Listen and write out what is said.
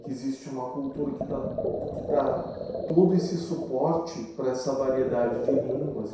que existe uma cultura que tá que dá todo esse suporte para essa variedade de línguas.